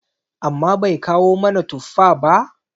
amma Bai kawo mana tuffa ba?